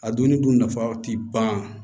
A donni dun nafa ti ban